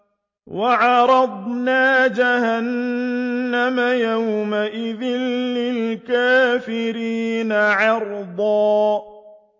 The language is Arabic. وَعَرَضْنَا جَهَنَّمَ يَوْمَئِذٍ لِّلْكَافِرِينَ عَرْضًا